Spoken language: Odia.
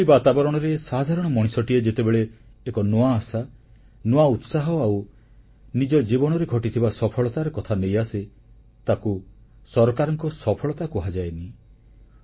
ଏଭଳି ବାତାବରଣରେ ସାଧାରଣ ମଣିଷଟିଏ ଯେତେବେଳେ ଏକ ନୂଆ ଆଶା ନୂତନ ଉତ୍ସାହ ଆଉ ନିଜ ଜୀବନରେ ଘଟିଥିବା ସଫଳତାର କଥା ନେଇ ଆସେ ତାକୁ ସରକାରଙ୍କ ସଫଳତା କୁହାଯାଏନି